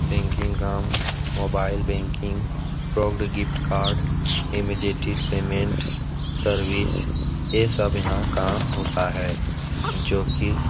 banking काम mobile banking product gift card immediate payment service ये सब यहाँ काम होता है जो की --